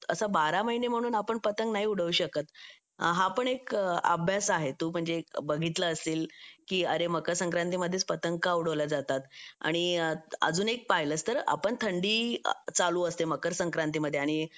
असं बारा महिने म्हणून आपण पतंग नाही उडवू शकत आपण एक अभ्यास आहे तू म्हणजे एक बघितला असेल की अरे मकर संक्रांति मध्येच पतंग का उडवल्या जातात आणि अजून एक पाहिलं तर आपण थंडी चालू असते मकर संक्रांति मध्ये आणि